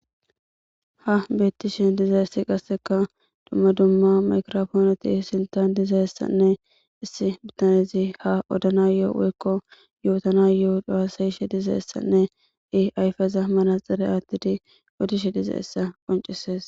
Ha beettishen diza issi qasseka dumma dumma makrofoonoti sintan dizayessanne issi bitanezi ha odanayo'o woykko yootanayoo dasayshe dizayessanne i ayfeza manaxere aattidi odishe diza essa qoncisees